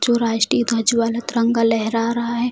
जो राष्ट्रीय ध्वज वाला तिरंगा लहरा रहा है।